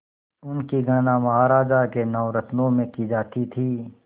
उनकी गणना महाराज के नवरत्नों में की जाती थी